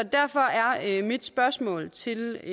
derfor er mit spørgsmål til